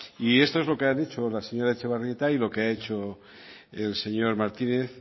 y eso es lo que ha dicho la señora etxebarrieta y lo que ha hecho el señor martínez